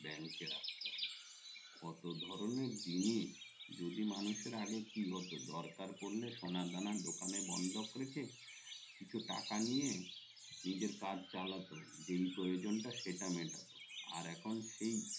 কত ধরণের জিনিস যদি মানুষের আগে কি হতো দরকার পড়লে সোনা দানা দোকানে বন্ধক রেখে কিছু টাকা নিয়ে নিজের কাজ চালাতো যে প্রয়োজন তা সেটা মেটাতো আর এখন সেই